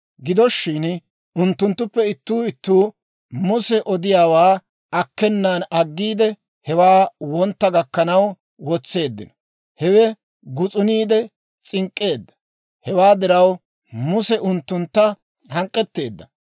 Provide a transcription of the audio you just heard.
Gido shin unttunttuppe ittuu ittuu Muse odiyaawaa akkenan aggiide, hewaa wontta gakkanaw wotseeddino; hewe gus'uniide s'ink'k'eedda. Hewaa diraw, Muse unttuntta hank'k'etteedda.